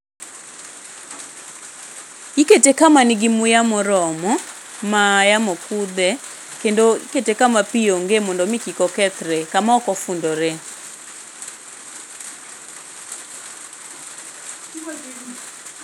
Ikete kama nigi muya moromo, ma yamo kudhe, kendo ikete kama pii onge mondo mii kik okethre. Kama ok ofundore.